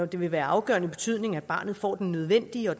det være af afgørende betydning at barnet får den nødvendige og